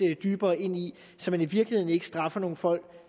dybere ind i så man i virkeligheden ikke straffer nogle folk